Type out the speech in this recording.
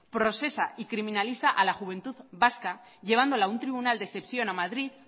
procesa y criminaliza a la juventud vasca llevándola a un tribunal de excepción a madrid